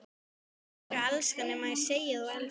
Hvernig geturðu elskað nema segja að þú elskir?